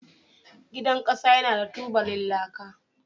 Gidan laka yana da tubalan laka